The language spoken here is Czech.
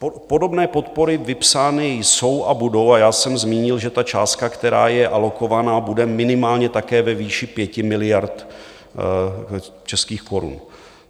Podobné podpory vypsány jsou a budou a já jsem zmínil, že ta částka, která je alokovaná, bude minimálně také ve výši 5 miliard českých korun.